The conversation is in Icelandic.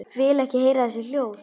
Vil ekki heyra þessi hljóð.